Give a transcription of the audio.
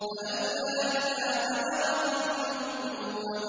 فَلَوْلَا إِذَا بَلَغَتِ الْحُلْقُومَ